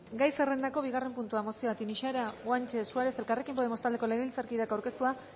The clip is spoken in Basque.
gai zerrendako bigarren puntua mozioa tinixara guanche suárez elkarrekin podemos taldeko legebiltzarkideak aurkeztua